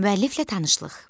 Müəlliflə tanışlıq.